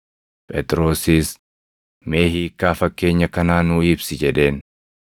Phexrosis, “Mee hiikkaa fakkeenya kanaa nuu ibsi” jedheen.